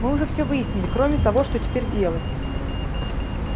мы уже всё выяснили кроме того что теперь делать